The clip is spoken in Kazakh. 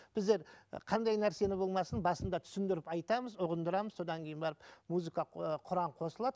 біздер і қандай нәрсені болмасын басында түсіндіріп айтамыз ұғындырамыз содан кейін барып музыка ы құран қосылады